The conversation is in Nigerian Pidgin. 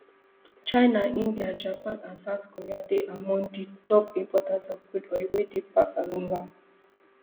china india japan and south korea dey among di top importers of crude oil wey dey pass along am